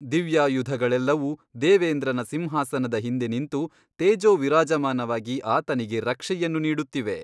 ದಿವ್ಯಾಯುಧಗಳೆಲ್ಲವೂ ದೇವೇಂದ್ರನ ಸಿಂಹಾಸನದ ಹಿಂದೆ ನಿಂತು ತೇಜೋವಿರಾಜಮಾನವಾಗಿ ಆತನಿಗೆ ರಕ್ಷೆಯನ್ನು ನೀಡುತ್ತಿವೆ.